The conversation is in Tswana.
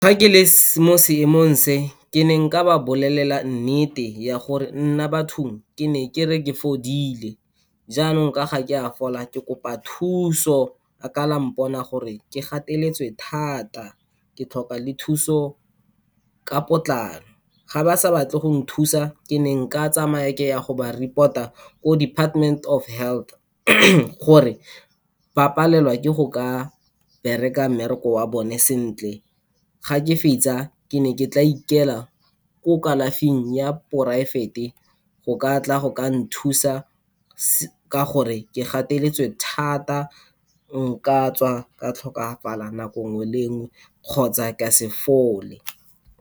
Fa ke le mo seemong se, ke ne nka ba bolelela nnete ya gore nna bathong, ke ne ke re ke fodile, jaanong ka ga ke a fola, ke kopa thuso. A ka la mpona gore ke gateletswe thata, ke tlhoka le thuso ka potlako. Ga ba sa batle go nthusa, ke ne nka tsamaya ke ya go ba report-a, ko Department of Health, gore ba palelwa ke go ka bereka mmereko wa bone sentle. Ga ke fetsa, ke ne ke tla ikela ko kalafing ya private-e, go ka tla go ka nthusa, ka gore ke gateletswe thata nka tswa ka tlhokafala nako nngwe le nngwe, kgotsa ka se fole.